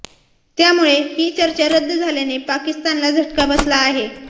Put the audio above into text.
त्यामुळे ही चर्चा रद्द झाल्याने पाकिस्तानला झटका बसला आहे